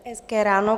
Hezké ráno.